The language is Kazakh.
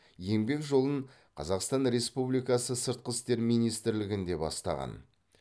еңбек жолын қазақстан республикасы сыртқы істер министрілігінде бастаған